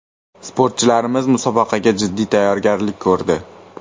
– Sportchilarimiz musobaqaga jiddiy tayyorgarlik ko‘rdi.